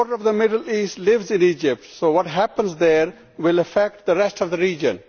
A quarter of the Middle East lives in Egypt, so what happens there will affect the rest of the region.